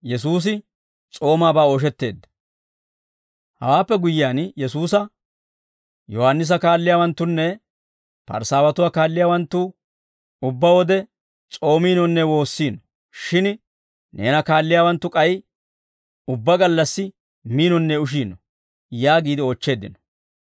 Hawaappe guyyiyaan Yesuusa, «Yohaannisa kaalliyaawanttunne Parisaawatuwaa kaalliyaawanttu ubbaa wode s'oomiinonne woossiino; shin Neena kaalliyaawanttu k'ay ubbaa gallassi miinonne ushiino» yaagiide oochcheeddino.